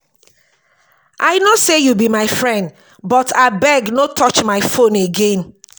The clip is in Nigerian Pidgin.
i no say you be my friend but abeg no touch my phone again